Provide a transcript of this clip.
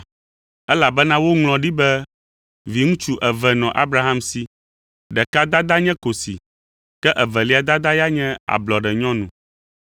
Elabena woŋlɔ ɖi be viŋutsu eve nɔ Abraham si; ɖeka dada nye kosi, ke evelia dada ya nye ablɔɖenyɔnu.